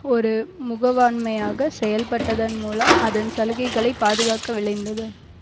ஒரு முகவாண்மையாக செயல்பட்டதன் மூலம் அதன் சலுகைகளை பாதுகாக்க விழைந்தது